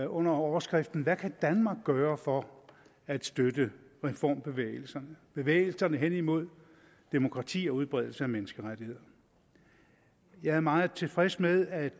under overskriften hvad kan danmark gøre for at støtte reformbevægelserne bevægelserne hen imod demokrati og udbredelse af menneskerettigheder jeg er meget tilfreds med at